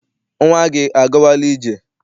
Nnwa gị agawala ije?